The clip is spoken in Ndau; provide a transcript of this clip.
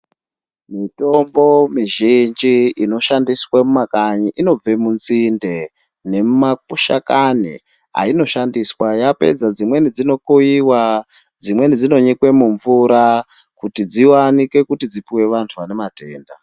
Mitombo mizhinji inoshandiswa mumakanyi inobva munzinde, nemumashakani ainoshandiswa yapedza dzimweni dzinokowewa dzimweni dzinonyikwa mumvura kuti dziyanikwe dzipiwe vanhu vane matenda